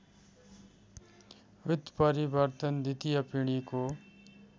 उत्परिवर्तन द्वितीय पिढीको